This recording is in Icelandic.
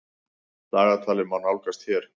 Dagatalið má nálgast hér.